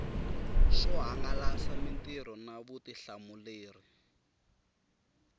swo hangalasa mitirho na vutihlamuleri